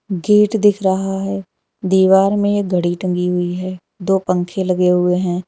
Gate दिख रहा है दीवार में एक घड़ी टंगी हुई है दो पंखे लगे हुए हैं।